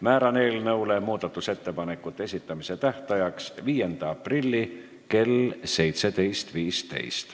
Määran eelnõu muudatusettepanekute esitamise tähtajaks 5. aprilli kell 17.15.